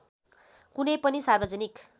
कुनै पनि सार्वजनिक